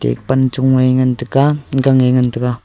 e panchong e ngan taiga gang e ngan taiga.